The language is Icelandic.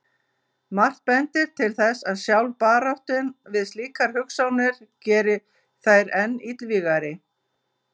Margt bendir til þess að sjálf baráttan við slíkar hugsanir geri þær enn illvígari.